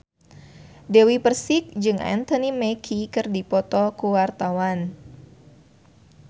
Dewi Persik jeung Anthony Mackie keur dipoto ku wartawan